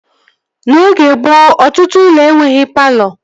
N'oge gboo, ọtụtụ ụlọ enweghị palọ